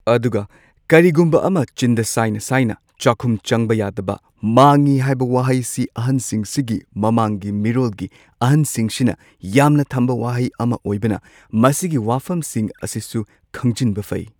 ꯑꯗꯨꯒ ꯀꯔꯤꯒꯨꯝꯕ ꯑꯃ ꯆꯤꯟꯗ ꯁꯥꯏꯅ ꯁꯥꯏꯅ ꯆꯥꯛꯈꯨꯝ ꯆꯪꯕ ꯌꯥꯗꯕ ꯃꯥꯡꯉꯤ ꯍꯥꯏꯕ ꯋꯥꯍꯩꯁꯤ ꯑꯍꯟꯁꯤꯡꯁꯤꯒꯤ ꯃꯃꯥꯡꯒꯤ ꯃꯤꯔꯣꯜꯒꯤ ꯑꯍꯟꯁꯤꯡꯁꯤꯅ ꯌꯥꯝꯅ ꯊꯝꯕ ꯋꯥꯍꯩ ꯑꯃ ꯑꯣꯏꯕꯅ ꯃꯁꯤꯒꯤ ꯋꯥꯐꯝꯁꯤꯡ ꯑꯁꯤꯁꯨ ꯈꯪꯖꯟꯕ ꯐꯩ꯫